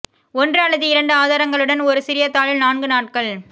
ஒன்று அல்லது இரண்டு ஆதாரங்களுடன் ஒரு சிறிய தாளில் நான்கு நாட்கள்